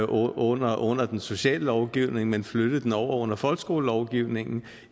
under under den sociale lovgivning men flyttede den over under folkeskolelovgivningen